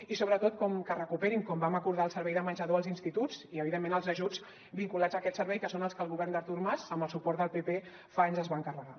i sobretot que es recuperi com vam acordar el servei de menjador als instituts i evidentment els ajuts vinculats a aquest servei que són els que el govern d’artur mas amb el suport del pp fa anys que es van carregar